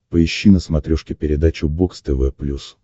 поищи на смотрешке передачу бокс тв плюс